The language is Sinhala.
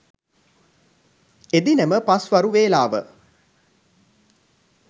එදිනම පස්වරු වේලාව